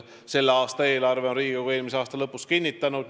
Selle aasta eelarve on Riigikogu eelmise aasta lõpus kinnitanud.